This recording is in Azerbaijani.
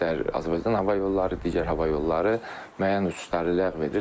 İstər Azərbaycan hava yolları, digər hava yolları müəyyən uçuşları ləğv edir.